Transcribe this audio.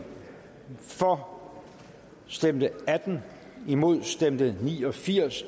for stemte atten imod stemte ni og firs